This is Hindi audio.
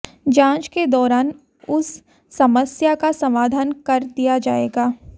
जांच के दौरान उस समस्या का समाधान कर दिया जाएगा